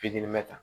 Fitini bɛ ta